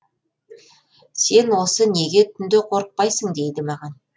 сен осы неге түнде қорықпайсың дейді маған